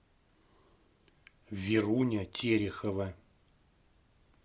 веруня терехова